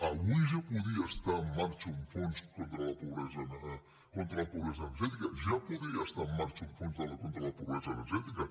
avui ja podria estar en marxa un fons contra la pobresa energètica ja podria estar en marxa un fons contra la pobresa energètica